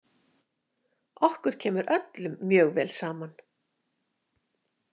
Okkur kemur öllum mjög vel saman.